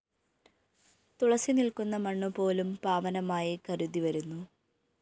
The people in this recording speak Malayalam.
തുളസി നില്‍ക്കുന്ന മണ്ണുപോലും പാവനമായി കരുതിവരുന്നു